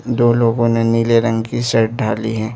दो लोगों ने नीले रंग की शर्ट ढाली है।